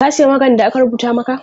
Ka siya maganin da aka rubuta maka?